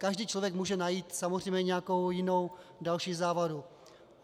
Každý člověk může najít samozřejmě nějakou jinou, další závadu.